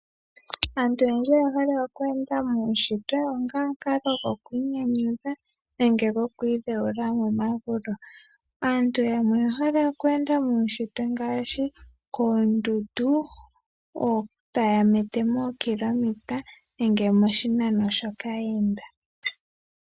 Aantu oyendji oya hala oku enda muushitwe ngaka goku inyanyudha nenge go ku i dheyula momagulu. Aantu oya hala oku enda muushitwe ngaashi koondundu, taya mete moo kilometers nenge poshinano shoka ya enda.